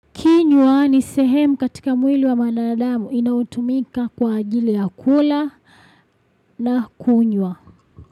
Kinywa ni sehemu katika mwili wa mwanadamu inautumika kwa ajili ya kula na kunywa.